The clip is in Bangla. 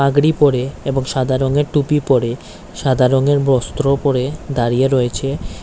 পাগরি পরে এবং সাদা রংয়ের টুপি পড়ে সাদা রঙের বস্ত্র পরে দাঁড়িয়ে রয়েছে।